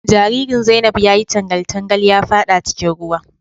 Jaririn Zainab ya yi tangal tangal ya fada cikin ruwa.